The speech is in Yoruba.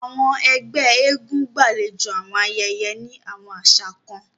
Awọn ẹgbẹ èègún gbalejo awọn ayẹyẹ ni awọn aṣa kan.